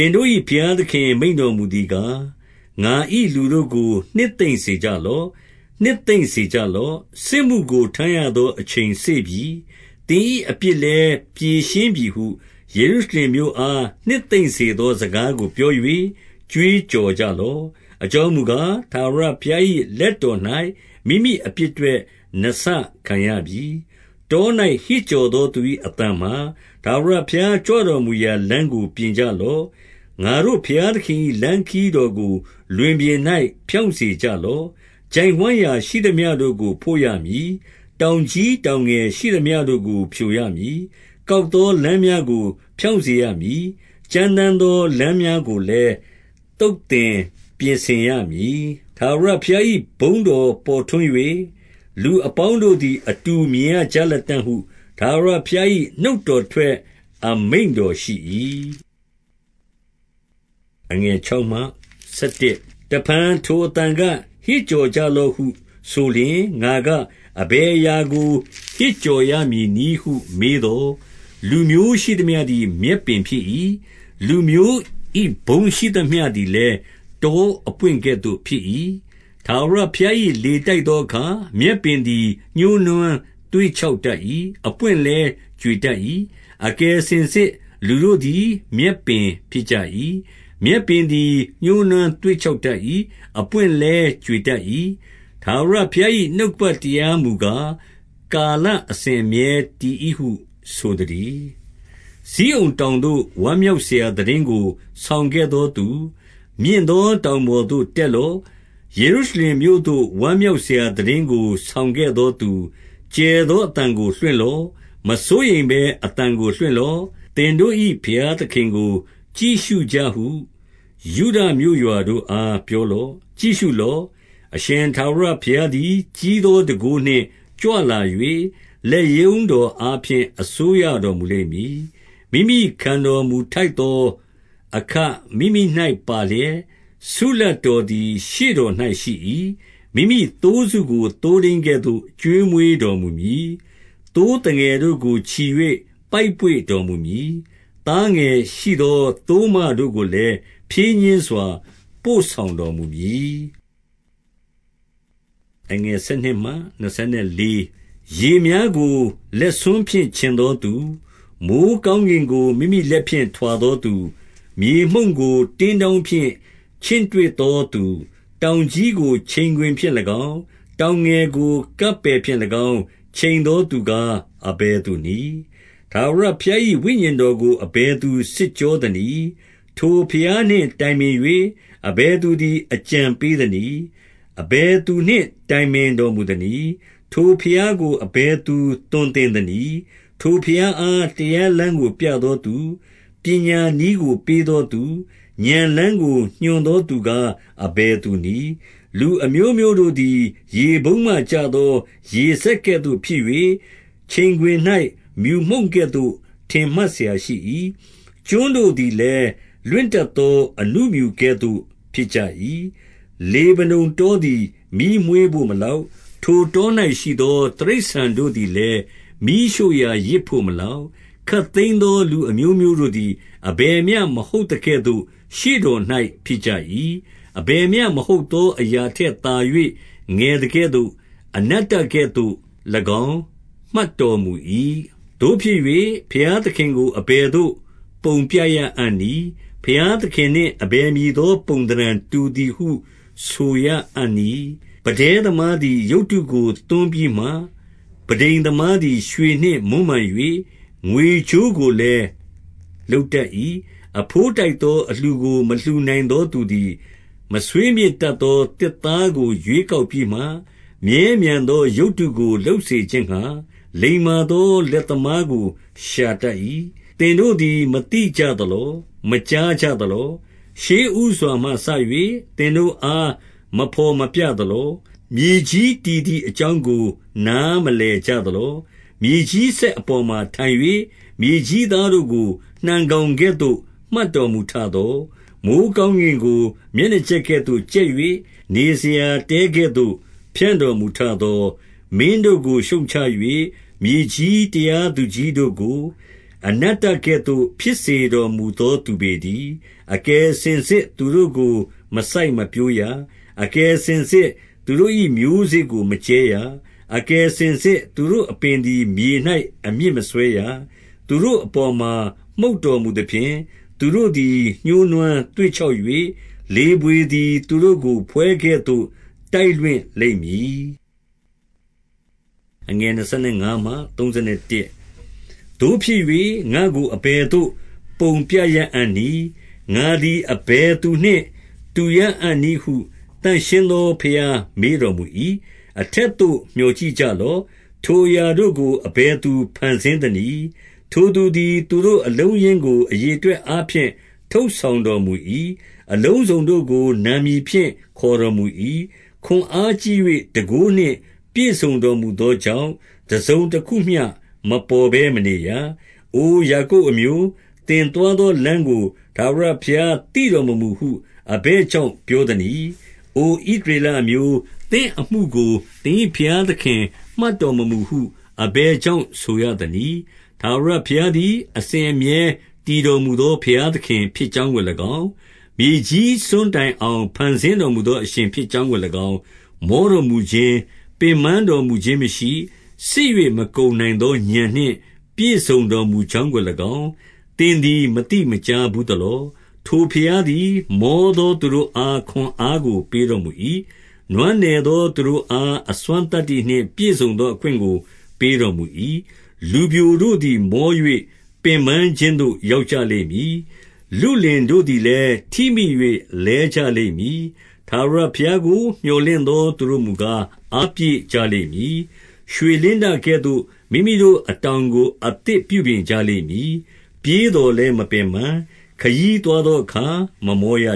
င်တို့၏ ဘုရားသခင် မိန့်တော်မူသည်ကား၊ ငါ၏လူတို့ကို နှစ်သိမ့်စေကြလော့။ နှစ်သိမ့်စေကြလော့။ 2 စစ်မှုကို ထမ်းရသော အချိန်စေ့ပြီ။ သင်၏ အပြစ်လည်း ဖြေရှင်းပြီဟု ယေရုရှလင်မြို့အား နှစ်သိမ့် စေသော စကားကို ပြော၍ ကြွေးကြော်ကြလော့။ အကြောင်းမူကား၊ ထာဝရဘုရား၏ လက်တော်၌ မိမိ အပြစ်အတွက် နှစ်ဆခံရပြီ။ 3 တော၌ ဟစ်ကြော်သော သူ၏အသံမှာ၊ ထာဝရ ဘုရားကြွတော်မူရာ လမ်းကို ပြင်ကြလော့။ ငါတို့ ဘုရား သခင်၏ လမ်းခရီးတော်ကို လွင်ပြင်၌ ဖြောင့်စေကြ လော့။ 4 ချိုင့်ဝှမ်းရာ ရှိသမျှတို့ကို ဖို့ရမည်။ တောင်ကြီး တောင်ငယ်ရှိသမျှတို့ကို ဖြိုရမည်။ ကောက်သော လမ်း များကို ဖြောင့်စေရမည်။ ကြမ်းတမ်းသော လမ်းများကို လည်း သုတ်သင်ပြင်ဆင်ရမည်။ 5 ထာဝရဘုရား၏ ဘုန်းတော်ပေါ်ထွန်း၍၊ လူ အပေါင်းတို့သည် အတူမြင်ရကြလတံ့ဟု ထာဝရဘုရား ၏ နှုတ်တော်ထွက်အမိန့်တော်ရှိ၏။ 6 တဖန် ထိုအသံက၊ ဟစ်ကြော်လော့ဟု ဆိုလျှင် ငါက၊ အဘယ်အရာကို ဟစ်ကြော်ရမည်နည်းဟု မေးသော်၊ လူမျိုးရှိသမျှသည် မြက်ပင်ဖြစ်၏။ လူမျိုး၏ ဘုန်းရှိသမျှသည်လည်း တောအပွင့်ကဲ့သို့ ဖြစ်၏။ 7 ထာဝရဘုရား၏ လေတိုက်သောအခါ၊ မြက်ပင် သည် ညှိုးနွမ်းသွေ့ခြောက်တတ်၏။ အပွင့်လည်း ကြွေ တတ်၏။ အကယ်စင်စစ်လူတို့သည် မြက်ပင်ဖြစ်ကြ၏။ 8 မြက်ပင်သည် ညှိုးနွမ်းသွေ့ခြောက်တတ်၏။ အပွင့်လည်း ကြွေတတ်၏။ ထာဝရဘုရား၏ နှုတ်ကပတ် တရားမူကား၊ ကာလစဉ်အမြဲတည်၏ဟု ဆိုသတည်း။ 9 ဇိအုန်တောင်သို့ ဝမ်းမြောက်စရာ သိတင်းကို ဆောင်ခဲ့သောသူ၊ မြင့်သောတောင်ပေါ်သို့တက်လော။ ယေရုရှလင် မြို့သို့ ဝမ်းမြောက်စရာ သိတင်းကို ဆောင်ခဲ့သောသူ၊ ကျယ်သောအသံကို လွှင့်လော့။ မစိုးရိမ်ဘဲ အသံကို လွှင့်လော့။ သင်တို့၏ ဘုရားသခင်ကို ကြည့်ရှုကြဟု ယုဒမြို့ရွာတို့အား ပြောလော့။ 10 ကြည့်ရှုလော့။ အရှင်ထာဝရဘုရားသည်၊ ကြီး သော တန်ခိုးနှင့် ကြွလာ၍၊ လက်ရုံးတော်အားဖြင့် အစိုးရ တော်မူလိမ့်မည်။ မိမိခံတော်မူထိုက်သောအခ မိမိ၌ ပါလျှက်၊ ဆုလပ်တော်သည် ရှေ့တော်၌ ရှိ၏။ 11 မိမိသိုးစုကို သိုးထိန်းကဲ့သို့ ကျွေးမွေးတော် မူမည်။ သိုးသငယ်တို့ကို ချီ၍ ပိုက်ပွေ့တော်မူမည်။ သားငယ်ရှိသော သိုးမတို့ကိုလည်း ဖြည်းညှင်းစွာ ပို့ဆောင် တော်မူမည်။ 12 ရေများကို လက်ဆွန်းဖြင့် ခြင်သောသူ၊ မိုဃ်း ကောင်းကင်ကို မိမိလက်ဖြင့် ထွာသောသူ၊ မြေမှုန့်ကို တင်းတောင်းဖြင့် ချင့်တွက်သောသူ၊ တောင်ကြီးကို ချိန်ခွင်ဖြင့်၎င်း၊ တောင်ငယ်ကို ကပ်ပယ်ဖြင့်၎င်း ချိန် သောသူကား အဘယ်သူနည်း။ 13 ထာဝရဘုရား၏ ဝိညာဉ်ကို အဘယ်သူ စစ်ကြောသနည်း။ ထိုဘုရားနှင့် တိုင်ပင်၍၊ အဘယ်သူ သည် အကြံပေးသနည်း။ 14 အဘယ်သူနှင့် တိုင်ပင်တော်မူသနည်း။ ထိုဘုရားကို အဘယ်သူ သွန်သင်သနည်း။ ထိုဘုရားအား တရားလမ်းကို ပြသောသူ၊ ပညာနည်းကို ပေးသောသူ၊ ဥာဏ်လမ်းကို ညွှန်သောသူကား အဘယ်သူနည်း။ 15 လူအမျိုးမျိုးတို့သည် ရေပုံးမှ ကျသော ရေစက် ကဲ့သို့ ဖြစ်၍၊ ချိန်ခွင်၌ မြူမှုန်ကဲ့သို့ ထင်မှတ်စရာ ရှိ၏။ ကျွန်းတို့သည်လည်း၊ လွင့်တတ်သော အဏုမြူကဲ့သို့ ဖြစ်ကြ၏။ 16 လေဗနုန်တောသည် မီးမွေးဘို့မလောက်။ ထိုတော၌ရှိသော တိရစ္ဆာန်တို့သည်လည်း၊ မီးရှို့ရာ ယဇ် ဘို့မလောက်။ 17 ခပ်သိမ်းသော လူအမျိုးမျိုးတို့သည် အဘယ်မျှ မဟုတ်သကဲ့သို့ ရှေ့တော်၌ ဖြစ်ကြ၏။ အဘယ်မျှမဟုတ် သော အရာထက်သာ၍ ငယ်သကဲ့သို့၎င်း၊ အနတ္တကဲ့သို့ ၎င်း မှတ်တော်မူ၏။ 18 သို့ဖြစ်၍၊ ဘုရားသခင်ကို အဘယ်သို့ ပုံပြရအံ့ နည်း။ ဘုရားသခင်နှင့် အဘယ်မည်သော ပုံသဏ္ဍာန် တူသည်ဟု ဆိုရအံ့နည်း။ 19 ပန်းတဉ်းသမားသည် ရုပ်တုကို သွန်းပြီးမှ၊ ပန်းထိမ်သမားသည် ရွှေနှင့်မွမ်းမံ၍၊ ငွေကြိုးကိုလည်း လုပ်တတ်၏။ 20 အဘိုးထိုက်သော အလှူကို မလှူနိုင်သောသူ သည်၊ မဆွေးမြေ့တတ်သော သစ်သားကို ရွေးကောက်ပြီး မှ၊ မြဲမြံသော ရုပ်တုကို လုပ်စေခြင်းငှါ၊ လိမ္မာသော လက် သမားကို ရှာတတ်၏။ 21 သင်တို့သည် မသိကြသလော။ မကြားကြသ လော။ ရှေ့ဦးစွာမှစ၍ သင်တို့အား မဘော်မပြသလော။ မြေကြီးတည်သည်အကြောင်းကို နားမလည်ကြသလော။ 22 မြေကြီးစက်အပေါ်မှာ ထိုင်၍၊ မြေကြီးသား တို့ကို နှံကောင်ကဲ့သို့ မှတ်တော်မူထသော၊ မိုဃ်းကောင်း ကင်ကို မျက်နှာကြက်ကဲ့သို့ ကြက်၍၊ နေစရာတဲကဲ့သို့ ဖြန့်တော်မူထသော၊ 23 မင်းတို့ကို ရှုတ်ချ၍၊ မြေကြီးတရားသူကြီးတို့ကို အနတ္တကဲ့သို့ ဖြစ်စေတော်မူသော သူပေတည်း။ 24 အကယ်စင်စစ်သူတို့ကို မစိုက်မပျိုးရ။ အကယ် စင်စစ် သူတို့၏မျိုးစေ့ကို မကြဲရ။ အကယ်စင်စစ် သူတို့ အပင်သည် မြေ၌ အမြစ်မစွဲရ။ သူတို့အပေါ်မှာ မှုတ် တော်မူသဖြင့်၊ သူတို့သည် ညှိုးနွမ်းသွေ့ခြောက်၍၊ လေ ဘွေသည် သူတို့ကို ဖွဲကဲ့သို့ တိုက်လွှင့်လိမ့်မည်။ 25 သို့ဖြစ်၍၊ ငါ့ကို အဘယ်သို့ ပုံပြရအံ့နည်း။ ငါသည် အဘယ်သူနှင့် တူရအံ့နည်းဟု သန့်ရှင်းသော ဘုရားမေးတော်မူ၏။ 26 အထက်သို့ မျှော်ကြည့်ကြလော့။ ထိုအရာတို့ကို အဘယ်သူ ဖန်ဆင်းသနည်း။ ထိုသူသည် သူတို့အလုံး အရင်းကို အရေအတွက်အားဖြင့် ထုတ်ဆောင်တော်မူ၏။ အလုံးစုံတို့ကို နာမည်ဖြင့် ခေါ်တော်မူ၏။ ခွန်အားကြီး၍ တန်ခိုးနှင့် ပြည့်စုံတော်မူသောကြောင့်၊ တစုံတခုမျှ မပေါ် ဘဲမနေရ။ 27 အိုယာကုပ်အမျိုး၊ သင်သွားသော လမ်းကို ထာဝရဘုရား သိတော်မမူဟု အဘယ်ကြောင့် ပြောသ နည်း။ အိုဣသရေလအမျိုး၊ သင့်အမှုကို သင်၏ဘုရား သခင် မှတ်တော်မမူဟု၊ အဘယ်ကြောင့်ဆိုရသနည်း။ 28 ထာဝရဘုရားသည် အစဉ်အမြဲ တည်တော်မူ သော ဘုရားသခင်ဖြစ်ကြောင်းကို၎င်း၊ မြေကြီးစွန်းတိုင် အောင် ဖန်ဆင်းတော်မူသော အရှင်ဖြစ်ကြောင်းကို၎င်း၊ မောတော်မူခြင်း၊ ပင်ပန်းတော်မူခြင်းမရှိ၊ စစ်၍ မကုန်နိုင် သော ဥာဏ်နှင့် ပြည့်စုံတော်မူကြောင်းကို၎င်း၊ သင်သည် မသိမကြားဘူးသလော။ 29 ထိုဘုရားသည် မောသောသူတို့အား၊ ခွန်အား ကို ပေးတော်မူ၏။ နွမ်းနယ်သော သူတို့အား၊ အစွမ်းသတ္တိ နှင့် ပြည့်စုံသော အခွင့်ကို ပေးတော်မူ၏။ 30 လူပျိုတို့သည် မော၍ ပင်ပန်းခြင်းသို့ ရောက်ကြ လိမ့်မည်။ လုလင်တို့သည်လည်း ထိမိ၍ လဲကြလိမ့်မည်။ 31 ထာဝရဘုရားကို မြော်လင့်သောသူတို့မူကား၊ အားပြည့်ကြလိမ့်မည်။ ရွှေလင်းတကဲ့သို့ မိမိတို့ အတောင် ကို အသစ်ပြုပြင်ကြလိမ့်မည်။ ပြေးသော်လည်း မပင်ပန်း၊ ခရီးသွားသောအခါ မမောရ